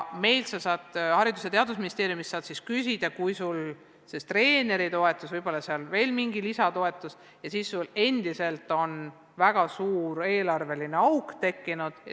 Meilt, Haridus- ja Teadusministeeriumist saad abi küsida, kui sul on treeneritoetusest ja võib-olla veel mingisugusest lisatoetusest hoolimata eelarves väga suur auk.